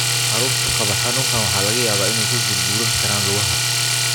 Carruurta qaba xanuunkan waxaa laga yaabaa inay ku gurguuran karaan lugaha.